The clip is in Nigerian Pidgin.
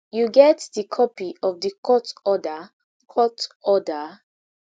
you get di copy of di court order court order